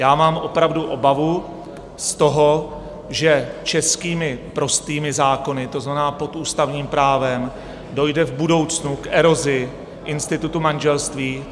Já mám opravdu obavu z toho, že českými prostými zákony, to znamená pod ústavním právem, dojde v budoucnu k erozi institutu manželství.